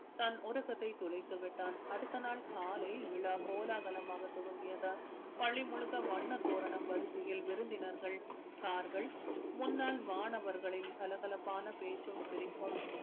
தன் உறக்கத்தை தொலைத்து விட்டான் அடுத்த நாள் காலை விழா கோலாகலமாக துவங்கியது பள்ளி முழுக்க வண்ணத் தோரணம் வரிசையில் விருந்தினர்கள் car கள் முன்னாள் மாணவர்களின் கலகலப்பான பேச்சும் சிரிப்பும்